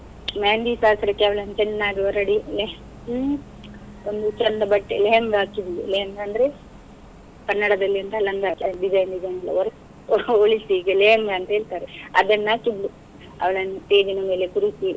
मेहंदी ಶಾಸ್ತ್ರಕ್ಕೆ ಅವಳನ್ನು ಚೆನ್ನಾಗಿ ಹೊರಡಿ ಹ್ಮ್ ಒಂದು ಚೆಂದ ಬಟ್ಟೆ lehanga ಹಾಕಿದ್ಳು lehanga ಅಂದ್ರೆ, ಕನ್ನಡದಲ್ಲಿ ಎಂತ ಲಂಗ design, design ಹೋಲಿಸಿ ಈಗ lehanga ಅಂತ ಹೇಳ್ತಾರೆ, ಅದನ್ನು ಹಾಕಿದ್ಳು ಅವಳನ್ನು stage ಇನ ಮೇಲೆ ಕೂರಿಸಿ.